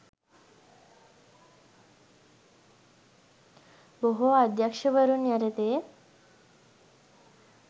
බොහෝ අධ්‍යක්‍ෂවරුන් යටතේ